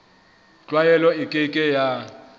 tlwaelo e ke ke ya